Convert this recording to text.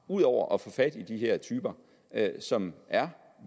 ud over at få fat i de her typer som er